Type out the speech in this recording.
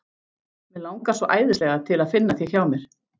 Mig langar svo æðislega til að finna þig hjá mér.